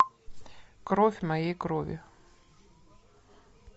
кровь моей крови